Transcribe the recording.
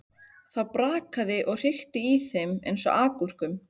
Það brakaði og hrikti í þeim eins og agúrkum.